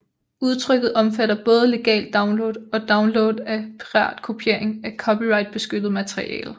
Udtrykket omfatter både legal download og download af piratkopiering af copyrightbeskyttet materiale